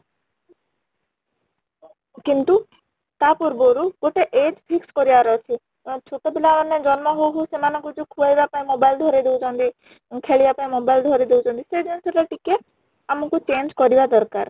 କିନ୍ତୁ ତା ପୂର୍ବ ରୁ ଗୋଟେ age fix କରିବାର ଅଛି ଅଂ ଛୋଟ ପିଲା ମାନେ ଜନ୍ମ ହଉ ହଉ ସେମାନେ ଙ୍କୁ ଯୋଉ ଖୁଏଇବା ପାଇଁ mobile ଧରେଇ ଦଉଛନ୍ତି ଖେଳିବା ପାଇଁ mobile ଧରେଇ ଦଉଛନ୍ତି ସେଇ ଜିନିଷ ତା ଟିକେ ଆମ କୁ change କରିବା ଦରକାର